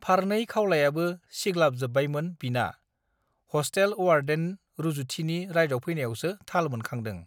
फारनै खावलायाबो सिग् लाब जोब् बायमोन बिना हष् टेल अवार्डेन रूजुथिनि रायदावफैनायावसो थाल मोनखांदो